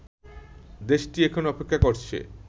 দেশটি এখন অপেক্ষা করছে